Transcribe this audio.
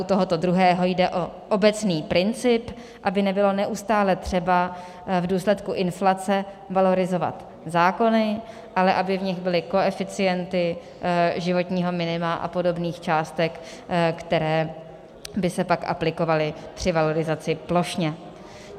U toho druhého jde o obecný princip, aby nebylo neustále třeba v důsledku inflace valorizovat zákony, ale aby v nich byly koeficienty životního minima a podobných částek, které by se pak aplikovaly při valorizaci plošně.